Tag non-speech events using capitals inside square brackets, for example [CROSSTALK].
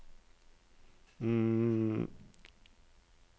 [HESITATION]